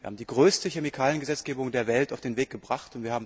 Wir haben die größte Chemikaliengesetzgebung der Welt auf den Weg gebracht.